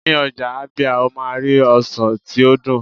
ní ọjà ábíá, o ma ri ọsàn ti o dun